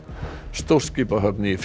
stórskipahöfn í